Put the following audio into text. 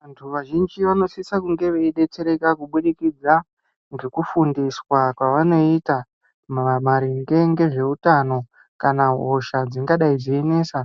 Vantu vazhinji vanosisa kunge veidetsereka kubudikidza ngekufundiswa kwavanoita maringe ngezveutano kana hosha dzingadai dzeinesa